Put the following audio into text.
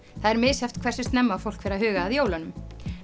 það er misjafnt hversu snemma fólk fer að huga að jólunum